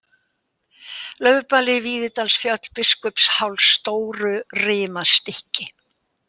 Laufbali, Víðidalsfjöll, Biskupsháls, Stórurimastykki